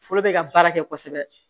Foro bɛ ka baara kɛ kosɛbɛ